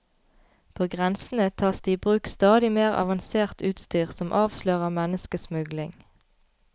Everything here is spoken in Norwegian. På grensene tas det i bruk stadig mer avansert utstyr som avslører menneskesmugling.